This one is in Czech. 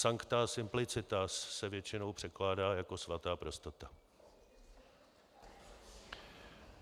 Sancta simplicitas se většinou překládá jako svatá prostota.